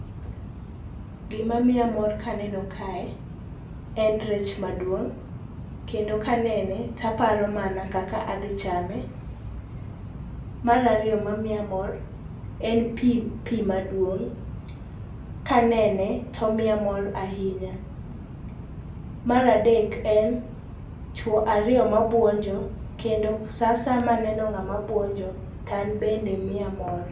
Gima miya mor kaneno kae, en rech maduong'. Kendo kanene taparo mana kaka adhi chame. Marariyo ma miya mor, en pi pi maduong'. Kanene tomiya mor ahinya. Maradek en chwo ariyo mabuonjo, kendo sa asaya maneno ng'ama buonjo to anbe miya mor.